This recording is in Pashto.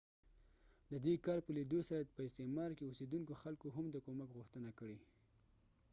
ددې کار په لیدو سره په استعمار کې اوسیدونکو خلکو هم د کومک غوښتنه کړې